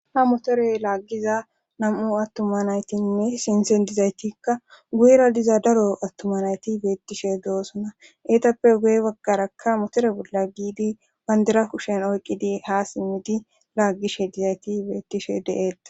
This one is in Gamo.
Ha motore laaggiza nam7u attuma naytinne sinse dizaytikka guira diza daro attuma nayti beettishe doosona eetappe guye baggarakka motore bolla giidi bandira kushen oyqqidi haa simmidi laaggishe dizayti beettishe de7eeta.